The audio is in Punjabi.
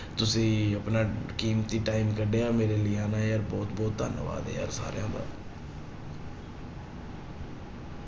ਤੁਸੀਂ ਆਪਣਾ ਕੀਮਤੀ time ਕੱਢਿਆ ਮੇਰੇ ਲਈ ਹਨਾ ਯਾਰ, ਬਹੁਤ ਬਹੁਤ ਧੰਨਵਾਦ ਯਾਰ ਸਾਰਿਆਂ ਦਾ।